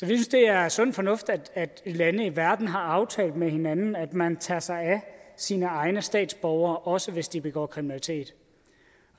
synes det er sund fornuft at lande i verden har aftalt med hinanden at man tager sig sine egne statsborgere også hvis de begår kriminalitet